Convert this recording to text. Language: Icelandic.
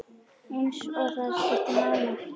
Eins og það skipti máli.